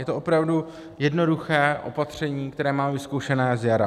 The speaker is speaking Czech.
Je to opravdu jednoduché opatření, které máme vyzkoušené z jara.